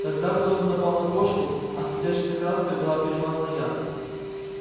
тогда кто-то напал на кошку а светящейся краской была перемазана я